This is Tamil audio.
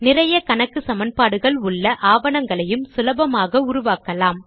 நிறைய கணக்கு சமன்பாடுகள் உள்ள ஆவணங்களையும் சுலபமாக உருவாக்கலாம்